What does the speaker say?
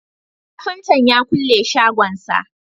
kafinta ya kulle shagon sa